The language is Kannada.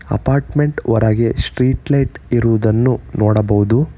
ಅಪಾರ್ಟ್ಮೆಂಟ್ ಹೊರಗೆ ಸ್ಟ್ರೀಟ್ ಲೈಟ್ ಇರುವುದನ್ನು ನೋಡಬಹುದು.